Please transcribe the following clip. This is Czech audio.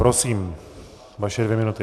Prosím, vaše dvě minuty.